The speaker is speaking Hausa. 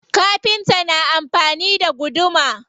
Kafinta na amfani da guduma.